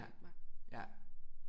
Ja ja